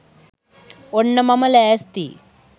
ඔන්න මම ලෑස්තියි